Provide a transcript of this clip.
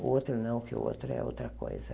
O outro não, porque o outro é outra coisa.